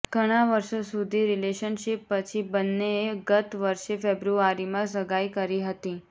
ઘણાં વર્ષો સુધી રિલેશનશિપ પછી બંનેએ ગત વર્ષે ફેબ્રુઆરીમાં સગાઈ કરી હતી